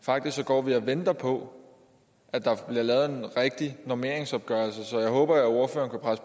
faktisk går vi og venter på at der bliver lavet en rigtig normeringsopgørelse så jeg håber at ordføreren